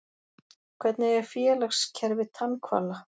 Hvernig er félagskerfi tannhvala?